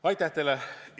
Aitäh teile!